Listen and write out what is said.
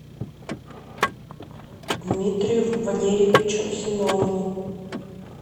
дмитрию валерьевичу семенову